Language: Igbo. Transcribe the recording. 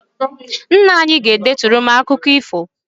Nna anyị ga-edeturu m akụkọ ifo